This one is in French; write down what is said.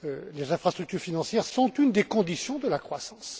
Les infrastructures financières sont une des conditions de la croissance.